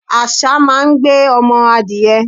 Àsá máa ń gbé ọmọ adìẹ.